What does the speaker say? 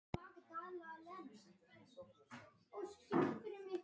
Ég hef þungar áhyggjur af jörðinni.